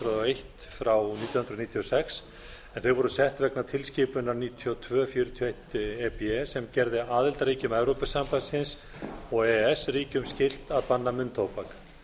nítján hundruð níutíu og sex en þau voru sett vegna tilskipunar níutíu og tveir fjörutíu og eitt e b sem gerði aðildarríkjum evrópusambandsins og e e s ríkjunum skylt að banna munntóbak